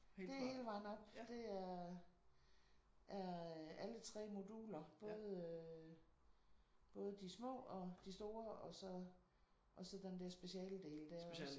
Det er hele vejen op. Det er er alle 3 moduler både øh både de små og de store og så og så den der specialdel også